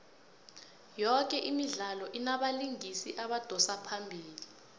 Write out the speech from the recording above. yoke imidlalo inabalingisi abadosa phambili